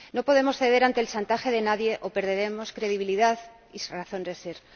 No podemos ceder ante el chantaje de nadie o perderemos credibilidad y razón de ser.